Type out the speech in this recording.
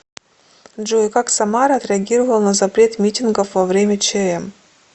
джой как самара отреагировала на запрет митингов во время чм